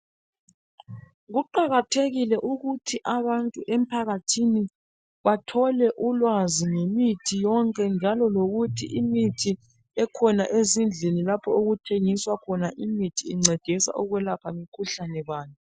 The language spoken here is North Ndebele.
Kuqakathekile ukuthi abantu emphakathini bathole ulwazi ngemithi yonke njalo lokuthi imithi ekhona ezindlini lapho okuthengiswa khona imithi incedisa ukwelapha mikhuhlane bani.